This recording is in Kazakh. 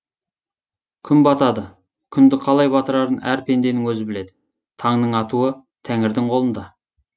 күн батады күнді қалай батырарын әр пенденің өзі біледі таңның атуы тәңірдің қолында